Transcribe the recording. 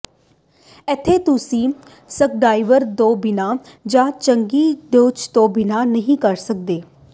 ਇੱਥੇ ਤੁਸੀਂ ਸਕ੍ਰਿਡ੍ਰਾਈਵਰ ਤੋਂ ਬਿਨਾਂ ਜਾਂ ਚੰਗੀ ਡ੍ਰੱਲ ਤੋਂ ਬਿਨਾਂ ਨਹੀਂ ਕਰ ਸਕਦੇ